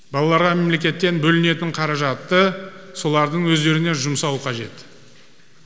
балаларға мемлекеттен бөлінетін қаражатты солардың өздеріне жұмсау қажет